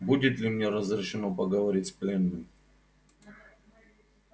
будет ли мне разрешено поговорить с пленным